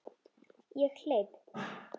Ég hleyp.